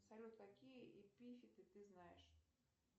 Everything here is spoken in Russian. салют какие эпифиты ты знаешь